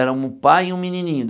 Era um pai e um menininho.